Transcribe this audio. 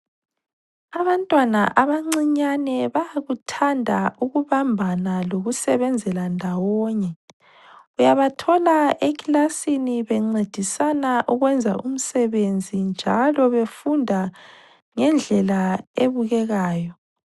Abantwana abancinyane bayakuthanda ukubambana lokusebenzela ndawonye. Uyabathola ekilasini bencedisana ukwenza umsebenzi njalo befunda ngendlela ebukekayo.